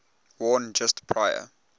worn just prior